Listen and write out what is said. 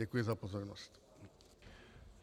Děkuji za pozornost.